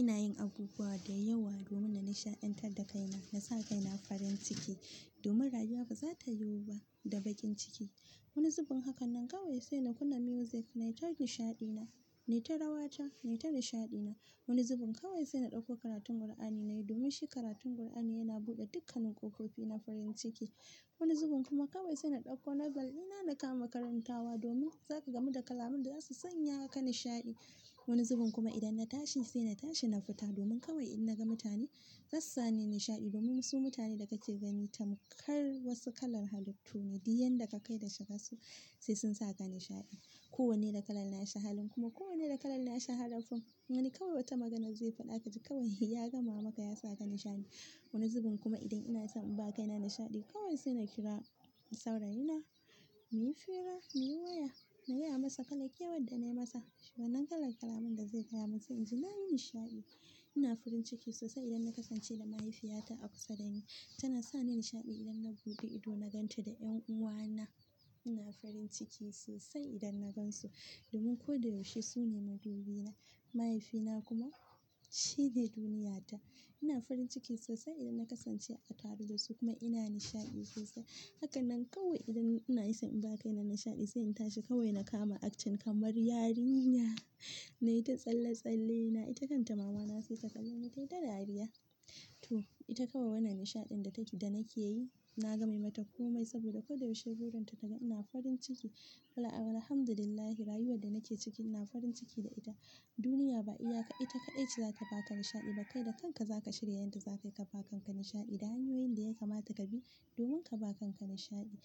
Ina yin abubuwa da yawa domin nisha'antar da kaina. Na sa kaina farin ciki domin rayuwa ba za ta yiwu ba da bakin ciki. Wani zubin haka nan kawai sai na kunna music nayi ta nishaɗi na, nayi ta rawa ta, nayi ta nishaɗi na. Wani zubin kawai sai na ɗauko karatun Alqur'ani nayi, domin shi karatun Alqur'ani yana buɗe dukkanin ƙoƙofi na farin ciki. Wani zubin kuma kawai sai na ɗauko noble na da kama makarantawa domin zaka gamu da kalaman da za su sanya ka nishaɗi. Wani zubin kuma idan na tashi sai na tashi na fita domin kawai idan naga mutane zasani nishaɗi, domin su mutane da kake gani tamkar wasu kalar halittu ne, diyan da ka kai da shiga su sai sun saka nishaɗi. Ko wanne da kalar na sha halin kuma ko wanne da kalar na sha halin. Ma'ana kawai wata magana zai faɗa aka ci kawai ya gama maka ya saka nishaɗi. Wani zubin kuma idan inason in baka ina nishaɗi kawai sai na kira saurayina, muyi hiira, muyi waya nayi masa kala kewan da nayi masa. Wanan kalar kalaman da zai gaya mun sai inji nayi nishaɗi. Ina farin ciki sosai idan na kasance da mahaifiyata a kusa dani. Tana sani nishaɗi idan na buɗe ido na ganta da 'yan uwana. Ina farin ciki sosai idan na gansu domin ko da yaushe su ne madubi na. Mahaifina kuma shine duniyata. Ina farin ciki sosai idan na kasance a tare da su kuma ina nishaɗi sosai. Haka nan kawai idan ina so in baka ina nishaɗi sai in tashi kawai na kama action kamar yarinya. Nayi ta tsalle-tsalle na, ita kanta mama na sai ta kalona ta yita dariya. To, ita kawai wannan nishaɗin da take-- da nake yi na game mata komai saboda ko da yaushe burin ta ta ga ina farin ciki. Alhamdu lillahi rayuwar da nake ciki ina farin ciki da ita. Duniya ba iya ka, ita kaɗai ce za ta baka nishaɗi ba kai da kanka za ka shirya yadda za ka yi ka ba kanka nishaɗi. Da hanyoyin da ya kamata ka bi domin ka ba kanka nishaɗi.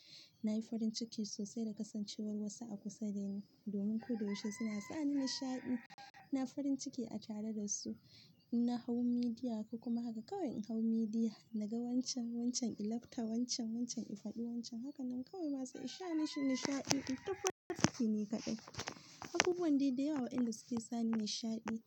Na yi farin ciki sosai da kasancewar wasu a kusa dani domin ko da yaushe suna sani nishaɗi. Ina farin ciki a tare da su. Na hau midiya kuma haka kawai in hau midiya naga wancan, wancan, in lafta wancan, wancan, in faɗi wancan. Haka nan kawai masu ishe ni shine nishaɗi. Ina farin ciki ne kaɗai. Abubuwan da yawa inda suke sani nishaɗi.